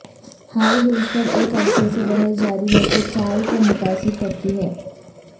high heels پر ایک عرصے سے بحث جاری ہے کہ چال کو متاثر کرتی ہے